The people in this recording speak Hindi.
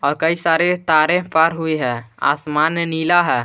कई सारे तारे पर हुई है आसमान ने नीला है।